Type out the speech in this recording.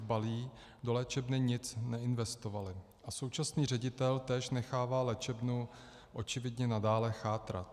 Dbalý do léčebny nic neinvestovali a současný ředitel též nechává léčebnu očividně nadále chátrat.